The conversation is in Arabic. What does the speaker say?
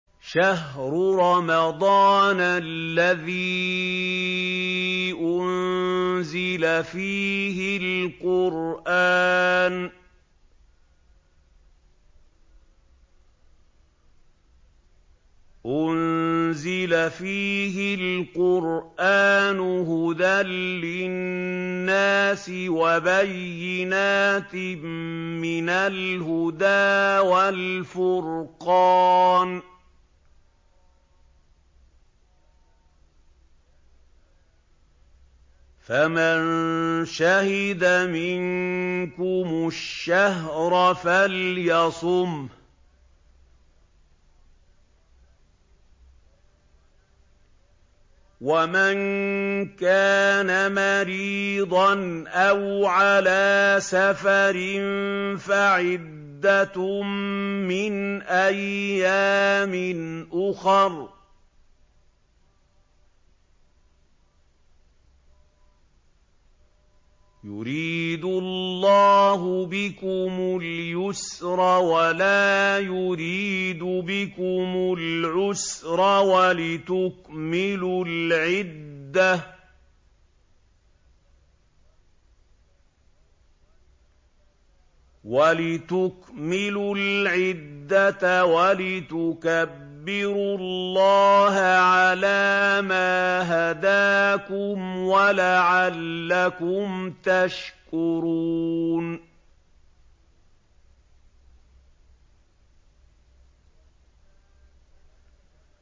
شَهْرُ رَمَضَانَ الَّذِي أُنزِلَ فِيهِ الْقُرْآنُ هُدًى لِّلنَّاسِ وَبَيِّنَاتٍ مِّنَ الْهُدَىٰ وَالْفُرْقَانِ ۚ فَمَن شَهِدَ مِنكُمُ الشَّهْرَ فَلْيَصُمْهُ ۖ وَمَن كَانَ مَرِيضًا أَوْ عَلَىٰ سَفَرٍ فَعِدَّةٌ مِّنْ أَيَّامٍ أُخَرَ ۗ يُرِيدُ اللَّهُ بِكُمُ الْيُسْرَ وَلَا يُرِيدُ بِكُمُ الْعُسْرَ وَلِتُكْمِلُوا الْعِدَّةَ وَلِتُكَبِّرُوا اللَّهَ عَلَىٰ مَا هَدَاكُمْ وَلَعَلَّكُمْ تَشْكُرُونَ